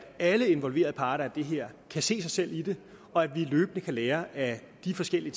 alle involverede parter i det her kan se sig selv i det og at vi løbende kan lære af de forskellige